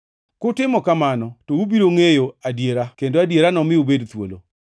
Kutimo kamano, to ubiro ngʼeyo adiera kendo adiera nomi ubed thuolo.”